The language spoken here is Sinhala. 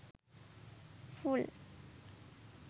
full